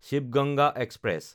Shiva Ganga express